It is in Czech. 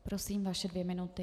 Prosím, vaše dvě minuty.